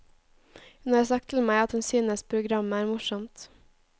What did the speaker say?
Hun har sagt til meg at hun synes programmet er morsomt.